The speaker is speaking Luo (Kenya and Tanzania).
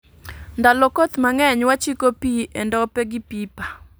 Ndalo koth mang'eny wachiko pii e ndope gi pipa